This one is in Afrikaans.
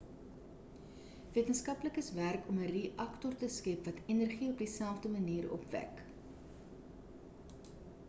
wetenskaplikes werk om 'n reaktor te skep wat energie op dieselfde manier opwek